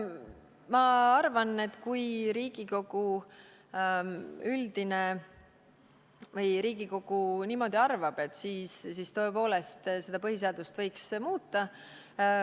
Ma arvan, et kui Riigikogu niimoodi arvab, siis tõepoolest võiks põhiseadust muuta.